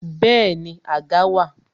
Bẹẹni, àga wà